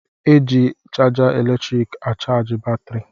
E ji chaja eletriiki achaji batrị.